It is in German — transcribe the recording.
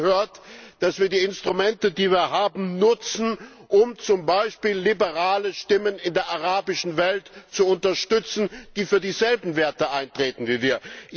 Dazu gehört, dass wir die Instrumente, die wir haben, nutzen, um zum Beispiel liberale Stimmen in der arabischen Welt zu unterstützen, die für dieselben Werte eintreten wie wir.